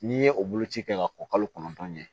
N'i ye o boloci kɛ ka o kalo kɔnɔntɔn kɛ